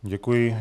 Děkuji.